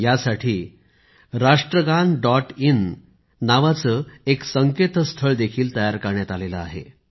यासाठी एक संकेतस्थळ देखील तयार करण्यात आले आहे Rashtragaan